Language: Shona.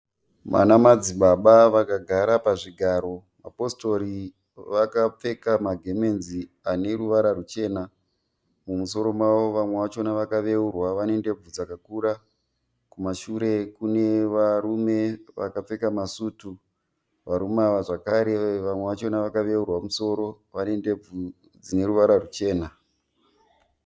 Ana madzibaba vakagara pazvigaro, mapositori vakapfeka magemenzi ane ruvara ruchena. Mumusoro mavo vamwe vachona vakaveurwa vane ndebvu dzakakura. Kumashure kune varume vakapfeka masutu. Varume ava zvakare vamwe vacho vakaveurwa musoro vane ndebvu dzine ruvara ruchena.